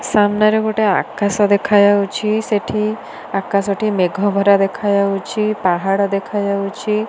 ସାମ୍ନାରେ ଗୋଟେ ଆକାଶ ଦେଖା ଯାଉଛି ସେଠି ଆକାଶ ଟି ମେଘ ଭରା ଦେଖା ଯାଉଛି ପାହାଡ ଦେଖା ଯାଉଛି।